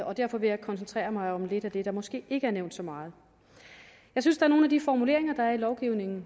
og derfor vil jeg koncentrere mig om lidt af det der måske ikke har været nævnt så meget jeg synes nogle af de formuleringer der er i lovgivningen